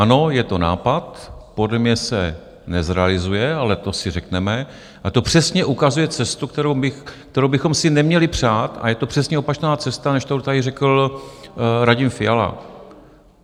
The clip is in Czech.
Ano, je to nápad, podle mě se nezrealizuje, ale to si řekneme, a to přesně ukazuje cestu, kterou bychom si neměli přát, a je to přesně opačná cesta, než kterou tady řekl Radim Fiala.